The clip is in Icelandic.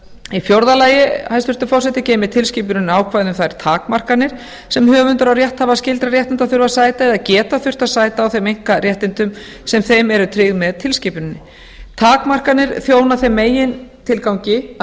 í fjórða lagi hæstvirtur forseti geymir tilskipunin ákvæði um þær takmarkanir sem höfundar og rétthafar skyldra réttinda þurfa að sæta eða geta þurft að sæta á þeim einkaréttindum sem þeim eru tryggð með tilskipuninni takmarkanir þjóna þeim megintilgangi að